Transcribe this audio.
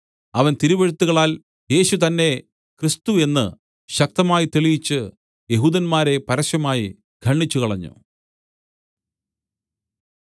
അവൻ തിരുവെഴുത്തുകളാൽ യേശു തന്നെ ക്രിസ്തു എന്ന് ശക്തമായി തെളിയിച്ച് യെഹൂദന്മാരെ പരസ്യമായി ഖണ്ഡിച്ചുകളഞ്ഞു